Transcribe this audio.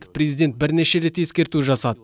президент бірнеше рет ескерту жасады